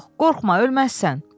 Qorxma ölməzsən.